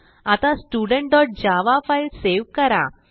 आता studentजावा file save करा